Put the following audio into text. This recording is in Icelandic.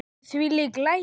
Þvílík læti!